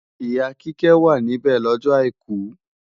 Ìyá Kíkẹ́ wà níbẹ̀ lọ́jọ àìkú